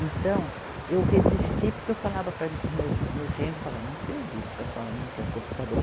Então, eu resisti, porque eu falava para mim, o meu, meu genro, falava, não acredito que a senhora não quer um computador.